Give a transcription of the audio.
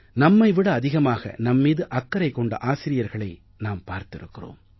நம்மை விட அதிகமாக நம்மீது அக்கறை கொண்ட ஆசிரியர்களை நாம் பார்த்திருக்கிறோம்